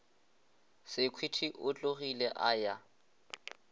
sekhwiti o tlogile a ya